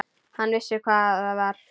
Hann vissi hvað það var.